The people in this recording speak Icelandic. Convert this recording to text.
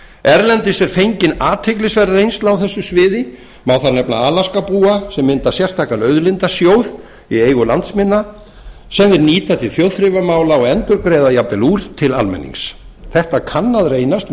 erlendis er fengin athyglisverð reynsla á þessu sviði má þar nefna alaskabúa sem mynda sérstakan auðlindasjóð í eigu landsmanna sem þeir nýta til þjóðþrifamála og endurgreiða jafnvel úr til almennings þetta kann að reynast